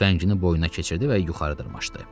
Tüfəngini boynuna keçirdi və yuxarı dırmaşdı.